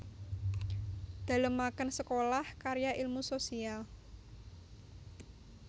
Dalemaken Sekolah Karya Ilmu Sosial